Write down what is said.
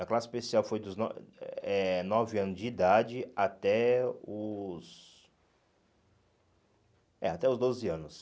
A classe especial foi dos no eh nove anos de idade até os é até os doze anos.